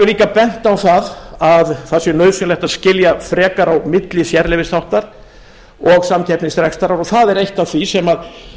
verið bent á það að það sé nauðsynlegt að skilja frekar á milli sérleyfisþáttar og samkeppnisrekstrar og það er eitt af því sem